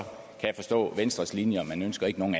forstå er venstres linje og man ønsker ikke nogen